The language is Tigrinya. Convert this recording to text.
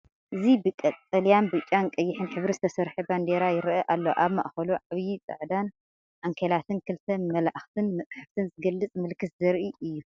እዚ ብቀጠልያን ብጫን ቀይሕን ሕብሪ ዝተሰርሐ ባንዴራ ይረአ ኣሎ። ኣብ ማእከሉ ዓቢ ጻዕዳ ዓንኬልን ክልተ መላእኽትን መጽሓፍን ዝገልጽ ምልክትን ዘርኢ እዩ።